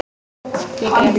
Ég grét.